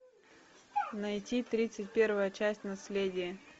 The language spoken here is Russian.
найти тридцать первая часть наследие